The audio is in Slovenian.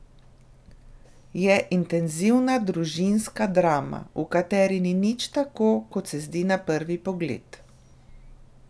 Je intenzivna družinska drama, v kateri ni nič tako, kot se zdi na prvi pogled.